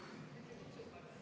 V a h e a e g